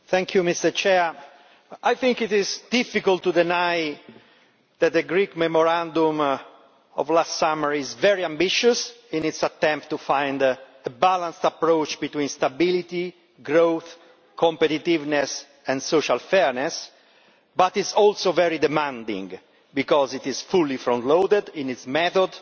Madam President, I think it is difficult to deny that the Greek memorandum of last summer is very ambitious in its attempt to find a balanced approach between stability, growth, competitiveness and social fairness, but it is also very demanding because it is fully front-loaded in its method